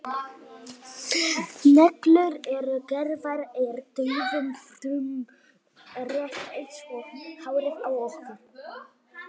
neglur eru gerðar úr dauðum frumum rétt eins og hárið á okkur